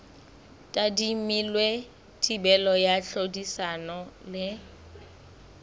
tadimilwe thibelo ya tlhodisano le